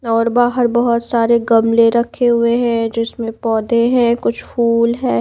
और बाहर बहुत सारे गमले रखे हुए हैं जिसमें पौधे हैं कुछ फूल है।